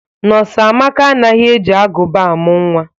Nọs Amaka anaghị e ji agụba amụ nwa.